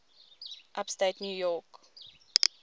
upstate new york